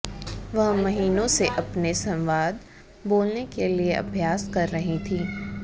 वह महीनों से अपने संवाद बोलने के लिए अभ्यास कर रही थीं